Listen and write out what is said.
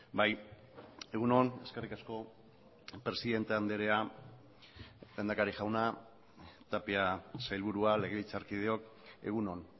bai egun on eskerrik asko presidente andrea lehendakari jauna tapia sailburua legebiltzarkideok egun on